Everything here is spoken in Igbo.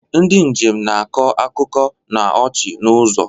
Ndị njem na-akọ akụkọ na ọchị n'ụzọ.